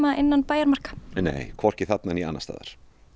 innan bæjarmarka nei hvorki þarna né annars staðar